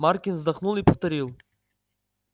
маркин вздохнул и повторил